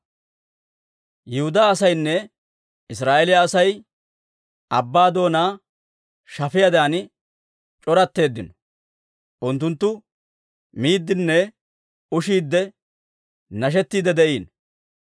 Yihudaa asaynne Israa'eeliyaa Asay abbaa doonaa shafiyaadan c'oratteeddino; unttunttu miiddinne ushiidde nashettiidde de'iino.